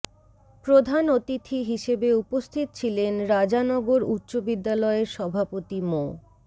প্রধান অতিথি হিসেবে উপস্থিত ছিলেন রাজানগর উচ্চ বিদ্যালয়ের সভাপতি মো